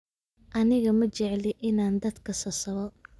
Aniga Ma jecli inaan dadka sasaba.